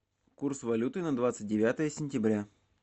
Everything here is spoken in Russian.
курс валюты на двадцать девятое сентября